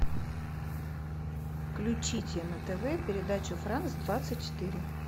включите на тв передачу франц двадцать четыре